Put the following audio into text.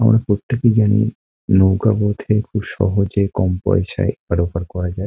আমরা প্রত্যেকেই জানি নৌকার মধ্যে খুব সহজে কম পয়সায় এপার ওপার করা যায় ।